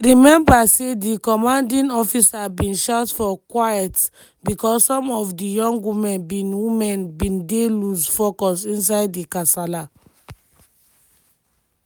she remember say di commanding officer bin shout for "quiet" bicos some of di young women bin women bin dey loose focus inside di kasala.